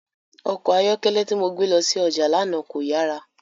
Ọkọ ayọkẹlẹ ti mo gbe lọ si ọja lana ko yara.